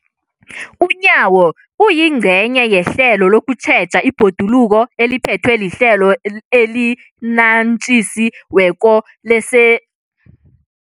UNyawo, oyingcenye yehlelo lokutjheja ibhoduluko eliphethwe liHlelo eliNatjisi weko lese